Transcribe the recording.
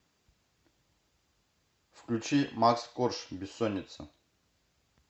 включи макс корж бессонница